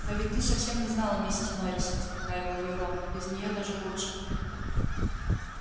но ведь ты совсем не знала миссис норрис успокаивал её рон без неё даже лучше